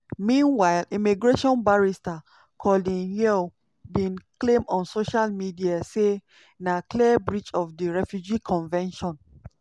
meanwhile immigration barrister colin yeo bin claim on social media say na "clear breach of di refugee convention".